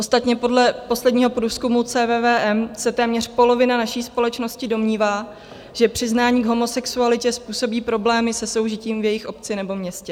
Ostatně podle posledního průzkumu CVVM se téměř polovina naší společnosti domnívá, že přiznání k homosexualitě způsobí problémy se soužitím v jejich obci nebo městě.